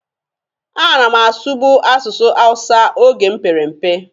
A na m asụbụ asụsụ hawusa oge m pere mpe.